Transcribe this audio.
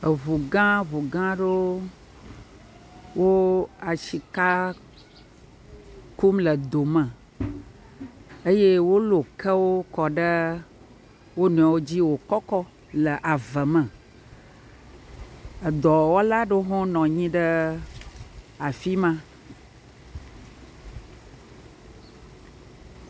Eŋu gã ŋu gã aɖewo le wo asika kum le dome eye wo lɔ eke kɔ ɖe wonɔewo dzi wo kɔkɔ le avɛ me. Edɔwɔla aɖewo nɔ anyi ɖe afima.